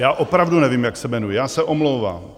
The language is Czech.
Já opravdu nevím, jak se jmenují, já se omlouvám.